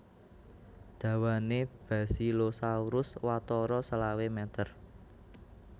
Dawané Basilosaurus watara selawe meter